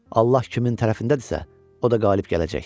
Allah kimin tərəfindədirsə, o da qalib gələcək.